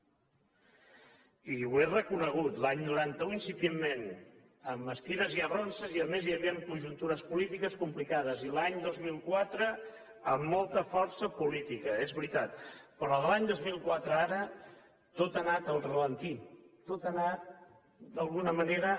i ho he reconegut l’any noranta un incipientment amb estires i arronses i a més hi havia conjuntures polítiques complicades i l’any dos mil quatre amb molta força política és veritat però de l’any dos mil quatre a ara tot ha anat al ralentí tot ha anat d’alguna manera